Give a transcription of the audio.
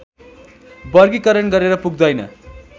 वर्गीकरण गरेर पुग्दैन